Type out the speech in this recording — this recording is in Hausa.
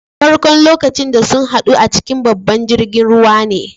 Farko'n lokacin da sun haddu a cikin babban jirigin ruwa ne.